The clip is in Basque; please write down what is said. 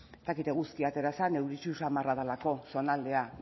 ez dakit eguzkia atera zen euritsu samarra delako zonaldea